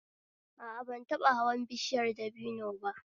A a, ban taɓa hawan bishiyar dabino ba